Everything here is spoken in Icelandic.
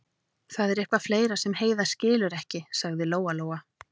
Ef það er eitthvað fleira sem Heiða skilur ekki, sagði Lóa-Lóa.